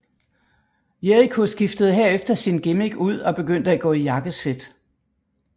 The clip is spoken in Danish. Jericho skiftede herefter sin gimmick ud og begyndte at gå i jakkesæt